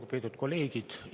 Lugupeetud kolleegid!